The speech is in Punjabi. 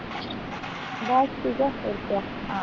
ਬਸ ਠੀਕ ਆ ਹੋਰ ਕਿਆ।